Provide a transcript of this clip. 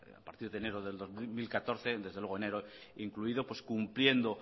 a partir de enero de dos mil catorce desde luego enero incluido pues cumpliendo